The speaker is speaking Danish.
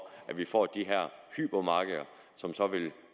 at vi får de her hypermarkeder som så vil